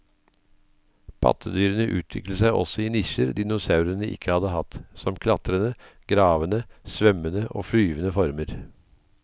Pattedyrene utviklet seg også i nisjer dinosaurene ikke hadde hatt, som klatrende, gravende, svømmende og flyvende former.